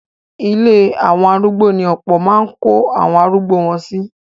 Ilé àwọn arúgbo ní ọ̀pọ̀ máa ń kó àwọn arugbo wọn sí.